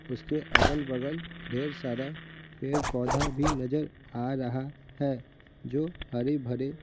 उसके अगल-बगल ढेर सारा पेड़-पौधा भी नजर आ रहा है जो हरे भरे--